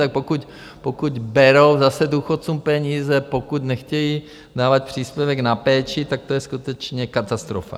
Tak pokud berou zase důchodcům peníze, pokud nechtějí dávat příspěvek na péči, tak to je skutečně katastrofa.